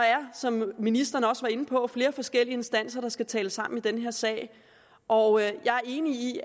er som ministeren også var inde på flere forskellige instanser der skal tale sammen i den her sag og jeg er enig i